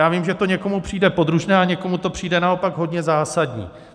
Já vím, že to někomu přijde podružné, a někomu to přijde naopak hodně zásadní.